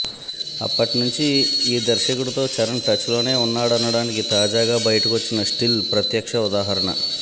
అప్పట్నుంచి ఈ దర్శకుడితో చరణ్ టచ్ లోనే ఉన్నాడనడానికి తాజాగా బయటకొచ్చిన స్టిల్ ప్రత్యక్ష ఉదాహరణ